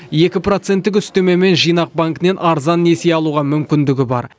екі проценттік үстемемен жинақ банкінен арзан несие алуға мүмкіндігі бар